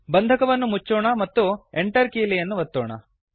ಬಂಧಕವನ್ನು ಮೊಚ್ಚೋಣ ಮತ್ತು Enter ಕೀಲಿಯನ್ನು ಅನ್ನು ಒತ್ತೋಣ